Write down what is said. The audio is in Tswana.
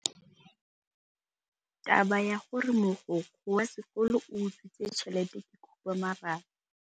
Taba ya gore mogokgo wa sekolo o utswitse tšhelete ke khupamarama.